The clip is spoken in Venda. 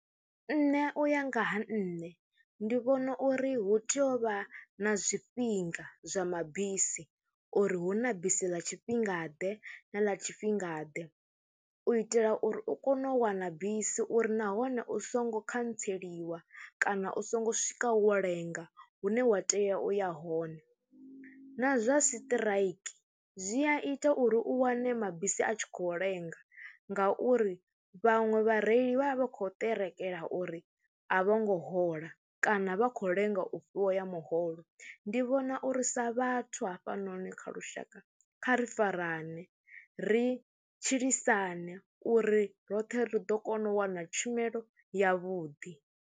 Nṋe u ya nga ha nṋe ndi vhona uri hu tea u vha na zwifhinga zwa mabisi uri hu na bisi ḽa tshifhingaḓe na ḽa tshifhingaḓe u itela uri u kone u wana bisi uri nahone u songo khantseliwa kana u songo swika wo lenga hune wa tea u ya hone. Na zwa siṱiraiki zwi a ita uri u wane mabisi a tshi khou lenga ngauri vhaṅwe vhareili vha vha vha khou ṱerekela uri a vho ngo hola kana vha khou lenga u fhiwa ya muholo. Ndi vhona uri sa vhathu hafhanoni kha lushaka kha ri farane ri tshilisane uri roṱhe ri ḓo kona u wana tshumelo yavhuḓi.